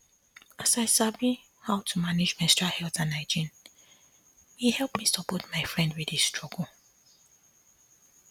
as i sabi how to manage menstrual health and hygiene e help me support my friend wey dey struggle